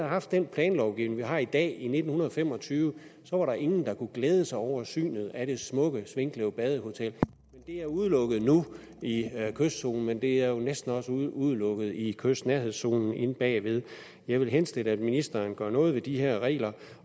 haft den planlovgivning vi har i dag i nitten fem og tyve så var der ingen der kunne glæde sig over synet af det smukke svinkløv badehotel det er udelukket nu i kystzonen men det er næsten også udelukket i kystnærhedszonen inde bagved jeg vil henstille at ministeren gør noget ved de her regler